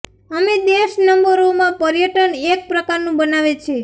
અમે દેશ નંબરો માં પર્યટન એક પ્રકારનું બનાવે છે